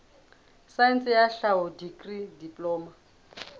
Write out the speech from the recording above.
saense ya tlhaho dikri diploma